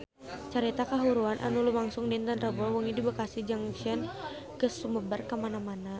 Carita kahuruan anu lumangsung dinten Rebo wengi di Bekasi Junction geus sumebar kamana-mana